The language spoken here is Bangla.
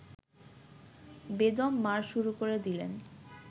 বেদম মার শুরু করে দিলেন